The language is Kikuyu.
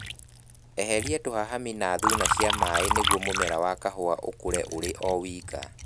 Eheria tũhahami na thuna cia maĩĩ nĩguo mũmera wa kahũa ũkũre ũri o wika